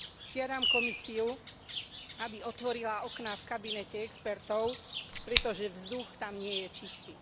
Žiadam Komisiu, aby otvorila okná v kabinete expertov, pretože vzduch tam nie je čistý.